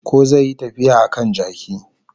Ko zai yi tafiyar a kan jaki